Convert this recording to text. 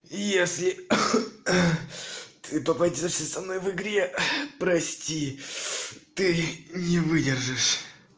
если ты попадёшься со мной в игре прости ты не выдержишь